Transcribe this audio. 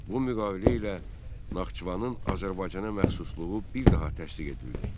Bu müqavilə ilə Naxçıvanın Azərbaycana məxsusluğu bir daha təsdiq edildi.